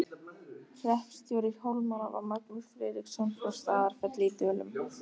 Hreppstjóri Hólmara var Magnús Friðriksson frá Staðarfelli í Dölum.